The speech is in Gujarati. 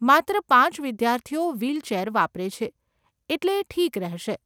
માત્ર પાંચ વિદ્યાર્થીઓ વ્હીલચેર વાપરે છે, એટલે એ ઠીક રહેશે.